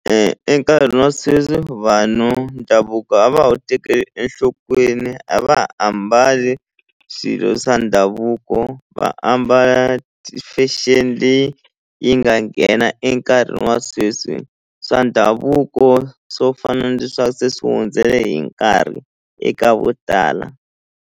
Enkarhini wa sweswi vanhu ndhavuko a va wu tekeli enhlokweni a va ha ambali swilo swa ndhavuko va ambala ti-fashion leyi yi nga nghena enkarhini wa sweswi swa ndhavuko swo fana se swi hundzele hi nkarhi eka vo tala.